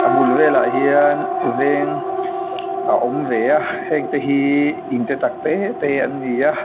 a bul vêlah hian vêng a awm ve a hengte hi in te tak tê tê an ni a.